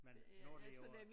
Men nu er det jo